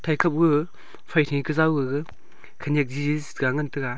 eka ma phaihi kao gai e khanyak jija ngan taga.